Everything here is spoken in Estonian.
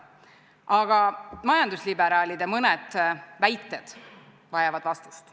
Aga mõned majandusliberaalide väited vajavad vastust.